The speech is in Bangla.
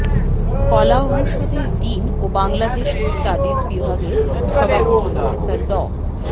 কলা অনুষদের ডিন ও বাংলাদেশ স্টাডিজ বিভাগের সভাপতি প্রফেসর ড